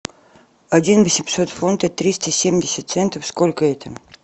один восемьсот фунты триста семьдесят центов сколько это